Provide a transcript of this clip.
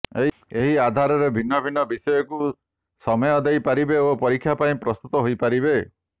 ଏହି ଆଧାରରେ ଭିନ୍ନ ଭିନ୍ନ ବିଷୟକୁ ସମୟ ଦେଇ ପାରିବେ ଓ ପରୀକ୍ଷା ପାଇଁ ପ୍ରସ୍ତୁତ ହୋଇ ପାରିବେ